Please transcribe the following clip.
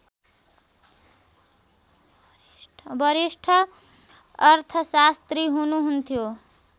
वरिष्ठ अर्थशास्त्री हुनुहुन्थ्यो